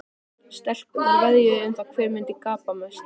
Stelpurnar veðjuðu um það hver myndi gapa mest.